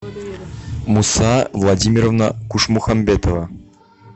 муса владимировна кушмухамбетова